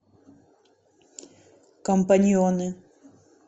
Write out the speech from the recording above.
компаньоны